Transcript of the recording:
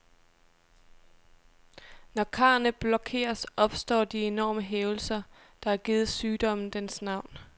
Når karrene blokeres, opstår de enorme hævelser, der har givet sygdommen dens navn.